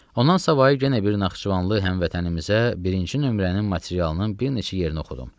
Ondan savayı yenə bir Naxçıvanlı həmvətənimizə birinci nömrənin materialının bir neçə yerini oxudum.